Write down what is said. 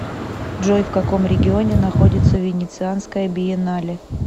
джой в каком регионе находится венецианская биеннале